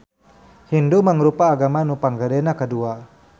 Hindu mangrupa agama nu panggedena kadua.